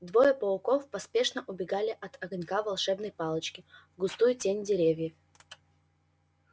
двое пауков поспешно убегали от огонька волшебной палочки в густую тень деревьев